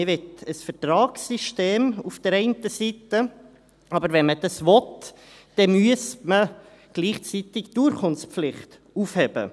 Man möchte auf der einen Seite ein Vertragssystem, aber wenn man dies will, dann müsste man gleichzeitig die Urkundenpflicht aufheben.